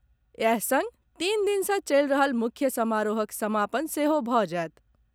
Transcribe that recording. इएह संग तीन दिन सँ चलि रहल मुख्य समारोहक समापन सेहो भऽ जायत।